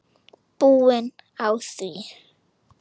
Búin á því.